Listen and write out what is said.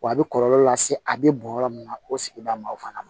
Wa a bɛ kɔlɔlɔ lase a bɛ bɔn yɔrɔ min na o sigida ma o fana na